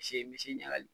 Se misi ɲagali